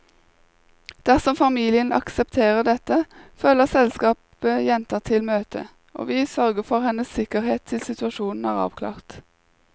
Dersom familien aksepterer dette, følger selskapet jenta til møtet, og vi sørger for hennes sikkerhet til situasjonen er avklart.